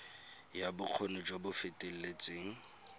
ya bokgoni jo bo feteletseng